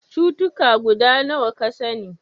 Cutuka guda nawa ka sani?